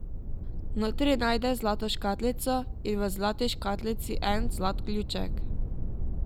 Notri najde zlato škatlico in v zlati škatlici en zlat ključek.